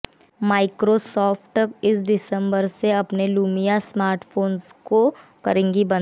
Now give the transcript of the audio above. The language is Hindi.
माइक्रोसॉफ्ट इस दिसम्बर से अपने लुमिया स्मार्टफोंस को करेगी बंद